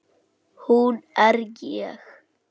Hún er ég.